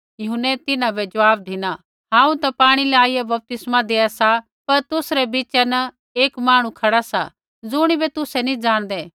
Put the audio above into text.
यूहन्नै तिन्हां बै ज़वाब धिना हांऊँ ता पाणी लाईया बपतिस्मा देआ सा पर तुसरै बीचा न एक मांहणु खड़ा सा ज़ुणिबै तुसै नैंई जाणदै